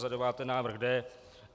Za deváté návrh D.